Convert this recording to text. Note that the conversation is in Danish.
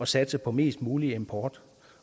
satse på mest mulig import